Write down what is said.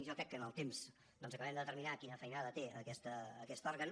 jo crec que amb el temps doncs acabem de determinar quina feinada té aquest òrgan